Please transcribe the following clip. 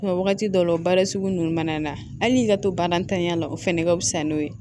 wagati dɔw la baara sugu nunnu mana na hali n'i ka to ba ntanya la o fɛnɛ ka fisa n'o ye